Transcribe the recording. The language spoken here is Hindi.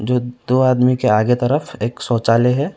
जो दो आदमी के आगे तरफ एक शौचालय है।